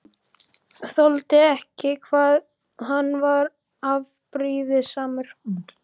Þoldi ekki hvað hann var afbrýðisamur.